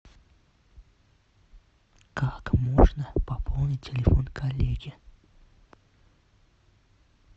как можно пополнить телефон коллеге